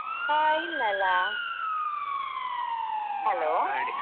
ಆ ಇಲ್ಲಲ್ಲಾ hello.